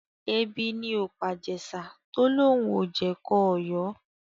Ebi ni ò pàJèṣà tó lóun ò jẹ̀kọ Ọ̀yọ́